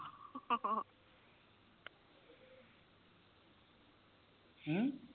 ਹਮ